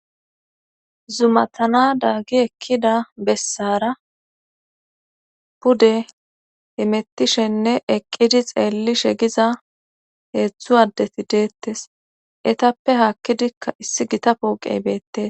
Zumatan adaagi ekkida bessara pude hemettishenne eqqidi xeelishe diza heedzu addeti deetes etappe haakkdikka issi Gita pooqet beettes